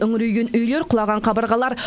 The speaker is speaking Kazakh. үңірейген үйлер құлаған қабырғалар